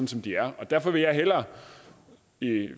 som de er derfor vil jeg hellere